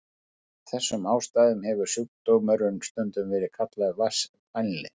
Af þessum ástæðum hefur sjúkdómurinn stundum verið kallaður vatnsfælni.